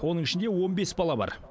оның ішінде он бес бала бар